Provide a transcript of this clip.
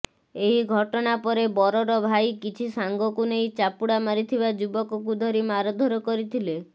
ଏହି ଘଟଣା ପରେ ବରର ଭାଇ କିଛି ସାଙ୍ଗକୁ ନେଇ ଚାପୁଡା ମାରିଥିବା ଯୁବକକୁ ଧରି ମାରଧର କରିଥିଲେ